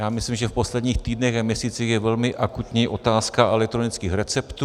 Já myslím, že v posledních týdnech a měsících je velmi akutní otázka elektronických receptů.